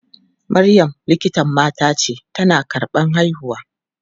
Maryam likitan mata ce, tana karɓan haihuwa.